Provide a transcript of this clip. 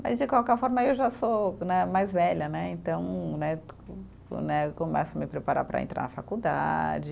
Mas de qualquer forma eu já sou né, mais velha né, então né, né eu começo a me preparar para entrar na faculdade.